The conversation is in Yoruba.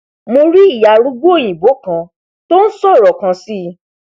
mo rí ìyá arúgbó òyìnbó kan tó nsọrọ kan sí